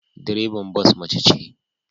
Direban bas mace ce